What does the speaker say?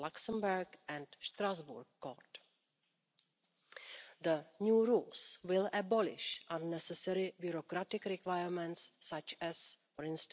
As the SD Group, we believe that this regulation, coupled with GDPR and the Police Directive, represents an ambitious step towards securing the fundamental rights of persons.